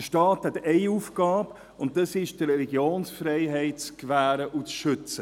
Der Staat hat Aufgabe, und zwar, die Religionsfreiheit zu gewähren und zu schützen.